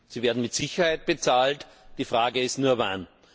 Sie werden mit Sicherheit bezahlt, die Frage ist nur wann.